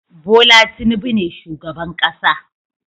Bola Tinubu ne shugaban kasa